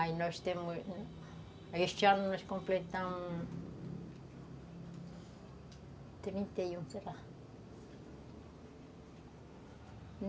Aí nós temos... Este ano nós completamos... Trinta e um, sei lá.